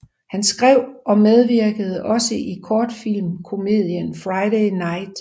Han skrev og medvirkede også i kortfilmkomedien Friday Night